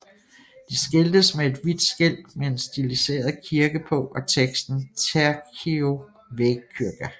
De skiltes med et hvidt skilt med en stiliseret kirke på og teksten TIEKIRKKO VÄGKYRKA